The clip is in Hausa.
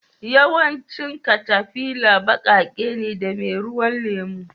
Yawancin katafila baƙaƙe ne da meruwan lemu